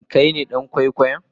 Shin Kai ne dan kwaikwayon?